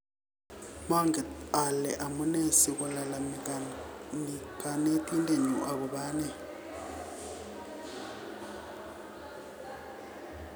"Manget ale amune sikolalamikani Kanetindet nyu agobo ane